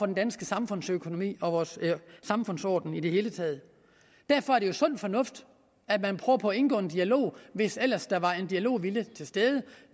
den danske samfundsøkonomi og vores samfundsorden i det hele taget derfor er det jo sund fornuft at man prøver på at indgå i en dialog hvis ellers der var en dialogvilje til stede